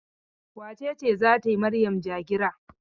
Wace ce za ta yi Maryam ja-gira?